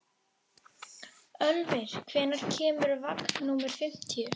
Ölvir, hvenær kemur vagn númer fimmtíu?